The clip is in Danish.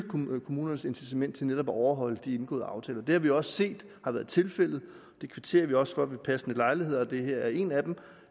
kommunernes incitament til netop at overholde de indgåede aftaler det har vi også set har været tilfældet vi kvitterer også for ved passende lejligheder og det her er en af dem